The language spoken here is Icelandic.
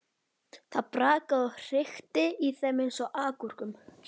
Það brakaði og hrikti í þeim eins og agúrkum.